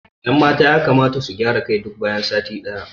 Ƴan mata yakamata su gyara kai duk bayan sati day